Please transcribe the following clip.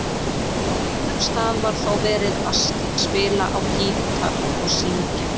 Á einum stað var þó verið að spila á gítar og syngja.